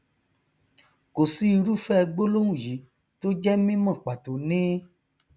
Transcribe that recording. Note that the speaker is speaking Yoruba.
kò sí irúfẹ gbólóhùn yí tó jẹ mímọ pàtó ní